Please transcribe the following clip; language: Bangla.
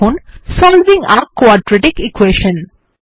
লিখুন সলভিং a কোয়াড্রেটিক ইকুয়েশন